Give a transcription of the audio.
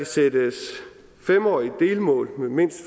sættes fem årige delmål mindst